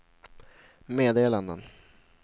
meddelanden